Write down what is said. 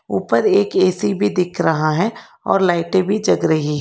ऊपर एक ए_सी भी दिख रहा है और लाइटें भी रही--